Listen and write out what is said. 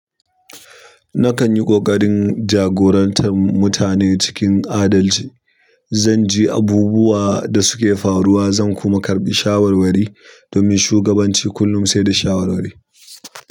Nakan yi ƙoƙarin jagorantar mutane cikin adalci. Zan ji abubuwan da suke faruwa, zan kuma karɓi shawarwari domin shugabanci kullum sai da shawarwari.